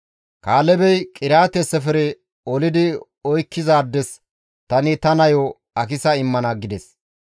Kaalebey, «Qiriyaate-Sefere olidi oykkizaades tani ta nayo Akisa immana» gides.